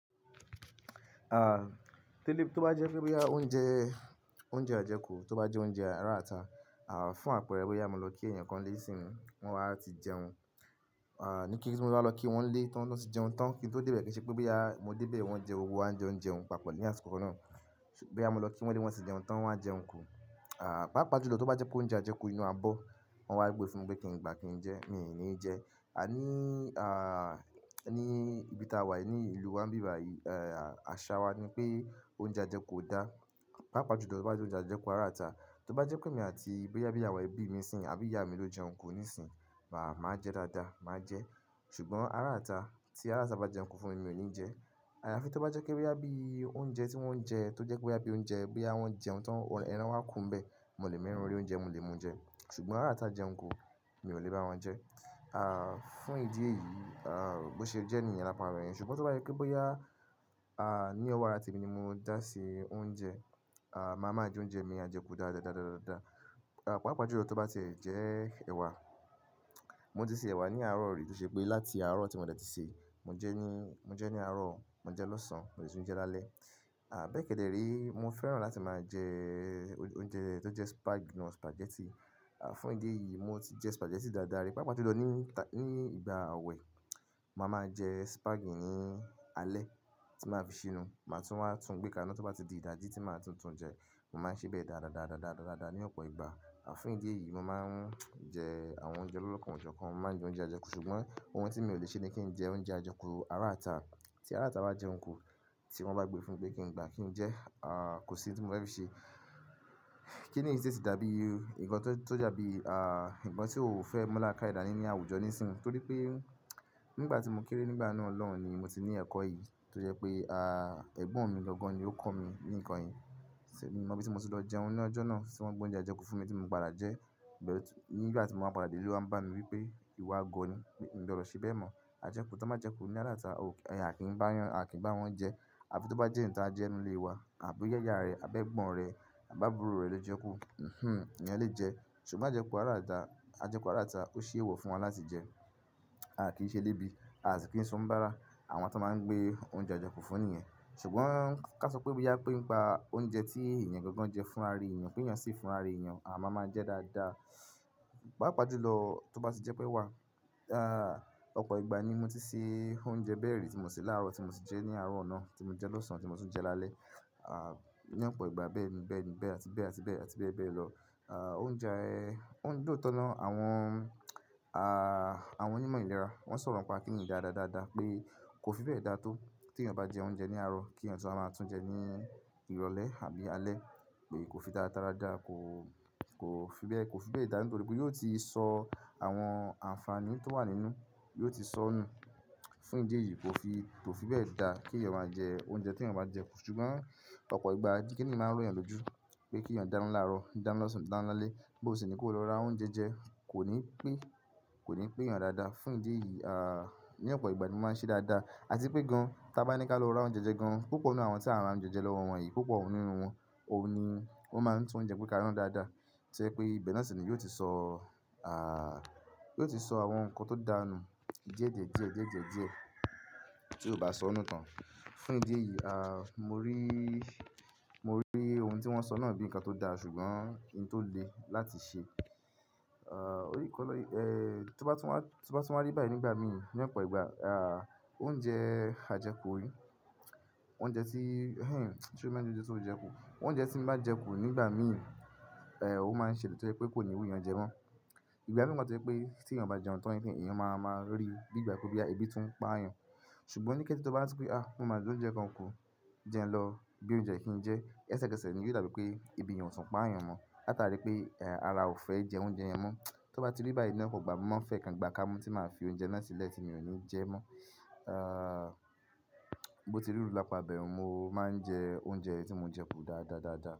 À, tí ó bá jẹ́ pé bí i oúnjẹ, oúnjẹ ajẹkù, tó bá jẹ́ oúnjẹ ará ìta, à fún àpẹẹrẹ wí pé a máa lọ kí ènìyàn kan lé sí inú, wọn á ti jẹun. À ní kí ní kíkí tí mo bá lọ kí wọ́n lé, tí wọ́n sì jẹun tán, kí n tó dé ibẹ̀ kí i ṣe pé bí i a mo dé ibẹ̀ wọ́n jẹ owó, a jẹun jẹun papọ̀ ní àsìkò náà. Ṣùgbọ́n bóyá mo lọ kí wọn nílé, wọ́n ti jẹun tán, wọn wá jẹun kù. À, pàápàá jùlọ tó bá jẹ́ pé oúnjẹ ajẹkù inú abọ́, wọn wá gbé fún mi pé kí n gbá kí n jẹ́, mi ò ní jẹ ẹ́ A ní, à ní ibi tá wà ní ìlú wa níbi yìí, àṣà wa ni pé oúnjẹ ajẹkù ò dáa. Pàápàá jùlọ tó bá jẹ́ pé oúnjẹ ajẹkù ará ìta Tó bá jẹ́ pé mi àti bóyá bí i àwọn ẹbí mi sìn àbí ìyá mi ló jẹun kù ní ìsìn, màá jẹ dáadáa, màá jẹ. Ṣùgbọ́n ará ìta, tí araata bá jẹun kù fún mi, mi ò ní ní jẹ. Àyàfi tó bá jẹ́ pé bóyá bíi oúnjẹ tí wọ́n ń jẹ tó jẹ́ pé bí i oúnjẹ bí i a wọ́n jẹun tán ẹran wá kunbẹ̀, mo lè mú ẹran orí oúnjẹ, mo lè mú jẹ. Ṣùgbọ́n ará ata jẹun kù, mi ò lè bá wọn jẹ. À fún ìdí èyí, à bó ṣe jẹ́ ènìyàn lapọ̀ àwọn ènìyàn. Ṣùgbọ́n tó bá yẹ kí bó yá, à ní ọ̀wọ́ ara tèmi ni mo dá se oúnjẹ. À, màá máa jẹ oúnjẹ mi àjẹkù dáadáa, dáadáa, dáadáa, dáadáa. À pàápàá jùlọ tó bá ti jẹ ẹ̀wà, mo ti se ẹ̀wà ní àárọ̀ yìí tó ṣe pé láti àárọ̀ tí mo dètí sè é, mo jẹ ní, mo jẹ ní àárọ̀, mo jẹ lọ́sàn-án, mo sì ń jẹ lálẹ́. À bẹ́ẹ̀ kẹ́dẹ̀ érí mo fẹ́ràn láti máa jẹ oúnjẹ tó jẹ́ spag, núdù sùpàgẹ́tì. À fún ìdí èyí, mo ti jẹ sùpàgẹ́tì dáadáa rí pàápàá jùlọ ní ìgbà awẹ, màá máa jẹ sùpàgì ní alẹ́ tí màá fi ṣínu. Màá tún wá tún gbé ká iná tó bá ti di ìdajì tí màá tún tún jẹ. Mo máa ń ṣẹ bẹ́ẹ̀ dáadáa, dáadáa, dáadáa, dáadáa, dáadáa ní ọ̀pọ̀ ìgbà. À fún ìdí èyí, mo máa ń jẹ àwọn oúnjẹ lolokan o jokan, oúnjẹ kàn. Mo má ń jẹ oúnjẹ ajẹkù. Ṣùgbọ́n ohun tí mi ò lè ṣe ni kí n jẹ oúnjẹ ajẹkù ará ìta. Tí ará ìta bá jẹun kù, tí wọ́n bá gbé fún mi pé kí n gbá kí n jẹ́, à kò sí ohun tí mo fẹ́ fi ṣe. Kí n nì sì tó dàbí, nǹkan tó dàbí, à nǹkan tí o ò fẹ́ mú lákàìdánì ní àwùjọ nísinsìnyí. Torí pé nígbà tí mo kéré nígbà náà lọ́hùn ni mo ti ní ẹ̀kọ́ yìí tó jẹ́ pé à ẹ̀gbọ́n mi gangan ni ó kọ́ mi ní ǹkan yìí. Ṣé mo mọ bí mo ti lọ jẹun ní ọjọ́ náà tí wọ́n mú oúnjẹ ajẹkù fún mi tí mo padà jẹ́. Bẹ̀ ọ̀tún nígbà tí mo máa padà dé ilé, wọ́n ń bá mi wí pé ìwọ agọ ni, mi ò gbọ́dọ̀ ṣe bẹ́ẹ̀ mọ̀. Ajẹkù tó bá jẹ́ ajẹkù ní ará ata, ò, ẹyà kì í bá yàn, a kì í bá wọn jẹ. Àbí tó bá jẹ́ ǹkan ajẹ́ inú ilé wa àbí yáyà rẹ, àbẹ́ ẹ̀gbọ́n rẹ, àbí àbúrò rẹ ló jẹ kú, hinhin iyan lè jẹ. Ṣùgbọ́n ajẹkù ará ìta, ajẹkù ará ata ó ṣe èèwọ̀ fún wọn láti jẹ. A kì í ṣe elebi Aa sì kì ń ṣe oníbàárà, àwọn tí wọ́n máa ń gbé oúnjẹ ajẹkù fún nìyẹn. Ṣùgbọ́n ká sọ pé bóyá pé nípa oúnjẹ tí ènìyàn gangan jẹ fún ara ènìyàn pé ǹjẹ́ sì fún ara ènìyàn, à máa máa jẹ dáadáa. Pàápàá jùlọ tó bá ti jẹ́ pé ẹ̀wà, à ọ̀pọ̀ ìgbà ni mo ti se oúnjẹ bẹ́ẹ̀ rí tí mo se láàárọ̀ tí mo sì jẹ ní àárọ̀ náà tí mo jẹ lọ́sàn-án tí mo sì ń jẹ lálẹ́. À ní ọ̀pọ̀ ìgbà bẹ́ẹ̀ ni, bẹ́ẹ̀ ni, bẹ́ẹ̀ àti bẹ́ẹ̀ àti bẹ́ẹ̀ àti bẹ́ẹ̀ bẹ́ẹ̀ lọ. À oúnjẹ ẹ, ó ń lóòótọ́ na, àwọn, à àwọn onímọ̀ ìlera. Wọ́n sọ̀rọ̀ nípa kíní yìí dáadáa, dáadáa pé kó fi bẹ́ẹ̀ dá tó tí èèyàn bá jẹ oúnjẹ ní àárọ̀ kí ẹ̀yàn tún máa tún jẹ ní ìrọ̀lẹ́ àbí alẹ́ pé kò fi dáa dáradára, kò kò fi bẹ́ẹ̀, kò fi bẹ́ẹ̀ dáa nítorí pé yóò ti sọ àwọn àǹfààní tó wà nínú, yóò ti sọ nù. Fún ìdí èyí kò fi, kò fi bẹ́ẹ̀ dá kí ẹ̀yàn máa jẹ oúnjẹ tí ẹ̀yàn bá jẹ kú. Ṣùgbọ́n ọ̀pọ̀ ìgbà ni kíní yẹn máa ń ró ẹ̀yàn lójú pé kí èèyàn dáná láàárọ̀, dáná lọ́sàn-án, dáná lálẹ́, bó sì ní kó lọ ra oúnjẹ jẹ, kò ní pé, kò ní pé èèyàn dáadáa. Fún ìdí èyí, à ní ọ̀pọ̀ ìgbà ni mo máa ń ṣe dáadáa. Àti pé gan-an tí a bá ní ká lọ ra oúnjẹ jẹ gan-an, púpọ̀ nínú àwọn tí a máa ra oúnjẹ jẹ lọ́wọ́ wọn yìí, púpọ̀ nínú wọn, òun ni ó máa ń tún oúnjẹ pé ká rọ̀n dáadáa. Tó ṣe pé bẹ́ẹ̀ náà sì ni yóò ti sọ, à yóò ti sọ àwọn nǹkan tó dáa nù díẹ̀díẹ̀ díẹ̀, díẹ̀díẹ̀ díẹ̀ tí yóò bá sọ nù tán. Fún ìdí èyí, à mo rí, mo rí ohun tí wọ́n sọ náà bíi ǹkan tó dáa ṣùgbọ́n kí n tó lè láti ṣe. À orí kọ́ lọ́yín, eh tó bá tún wá, tó bá tún wá rí báyìí nígbà míì ní ọ̀pọ̀ ìgbà, à oúnjẹ ajẹkù yìí, oúnjẹ tí hinhin tí o máa ń jẹ lójoojúmọ́ jẹ kú. Oúnjẹ tí mo bá jẹ kú nígbà míì, eh ó máa ń ṣe èlè tọ́ pé kò ní wú èèyàn jẹ mọ́. Ìgbà mìíràn tọ́ pé tí ẹ̀yàn bá jẹun tán nìkan, ẹ̀yàn máa máa rí bí ìgbà kú bí i ẹbí tún ń pa àyàn. Ṣùgbọ́n ó ní kí ẹ́ tó bá tún wá sọ pé "à mo máa jẹ oúnjẹ kan kù jẹun lọ bí i oúnjẹ kí n jẹ", lẹsẹkẹsẹ ni yóò dàbí pé ibi ìyàn sùn pa àyàn mọ́. Láta rí pé,